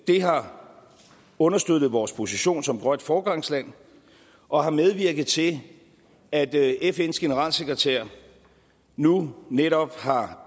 har understøttet vores position som grønt foregangsland og har medvirket til at fns generalsekretær nu netop har